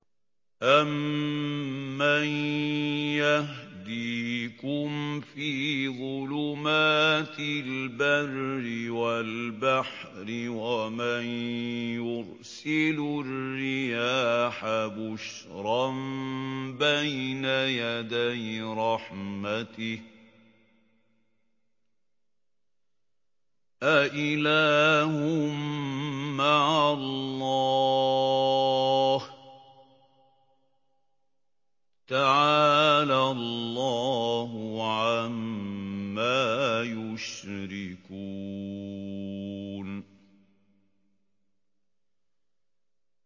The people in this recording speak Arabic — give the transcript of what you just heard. أَمَّن يَهْدِيكُمْ فِي ظُلُمَاتِ الْبَرِّ وَالْبَحْرِ وَمَن يُرْسِلُ الرِّيَاحَ بُشْرًا بَيْنَ يَدَيْ رَحْمَتِهِ ۗ أَإِلَٰهٌ مَّعَ اللَّهِ ۚ تَعَالَى اللَّهُ عَمَّا يُشْرِكُونَ